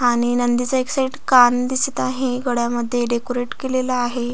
आणि नदीचा एक साइड कान दिसत आहे गळ्या मध्ये डेकोरेट केलेल आहे.